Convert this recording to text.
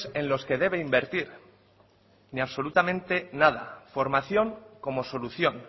en los que debe invertir ni absolutamente nada formación como solución